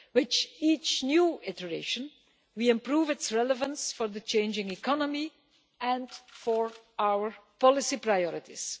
With each new iteration we improve its relevance for the changing economy and for our policy priorities.